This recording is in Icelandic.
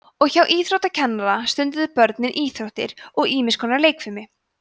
og hjá íþróttakennara stunduðu börnin íþróttir og ýmis konar leikfimi